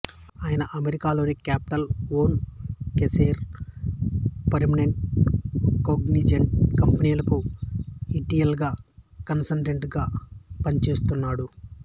ఆయన అమెరికాలోని Capital One Kaiser Permanente Cognizant కంపెనీలకు ఇ టి ఎల్ కన్సల్టంట్ గా పనిచేస్తున్నాడు